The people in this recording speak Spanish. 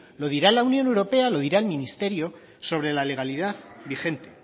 lo dirá la unión europea lo dirá el ministerio sobre la legalidad vigente